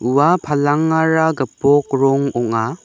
ua palangara gipok rong ong·a.